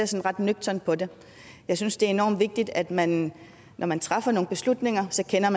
ser ret nøgternt på det jeg synes det er enormt vigtigt at man når man træffer nogle beslutninger også kender